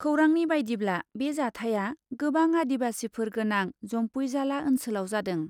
खौरांनि बायदिब्ला बे जाथाया गोबां आदिबासिफोर गोनां जम्पुइजाला ओन्सोलाव जादों ।